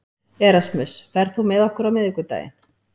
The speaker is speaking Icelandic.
Erasmus, ferð þú með okkur á miðvikudaginn?